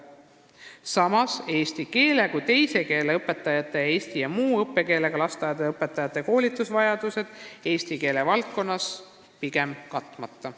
Samas on eesti keele kui teise keele õpetajate ning eesti ja muu õppekeelega lasteaedade õpetajate koolitusvajadused eesti keele valdkonnas pigem katmata.